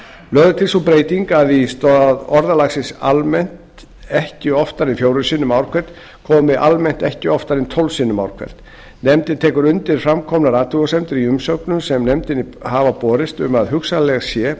lögð er til sú breyting að í stað orðalagsins almennt ekki oftar en fjórum sinnum ár hvert komi almennt ekki oftar en tólf sinnum ár hvert nefndin tekur undir framkomnar athugasemdir í umsögnum sem nefndinni hafa borist um að hugsanlegt